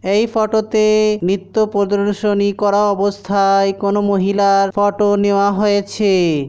এই ফটো -তে নৃত্য প্রদর্শনী করা অবস্থায় কোন মহিলার ফটো নেওয়া হয়েছে।